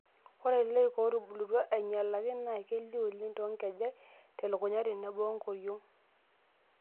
Ore loik ootubulutua ainyalaki naa kelio oleng' toonkejek, telukunya tenebo enkoriong'.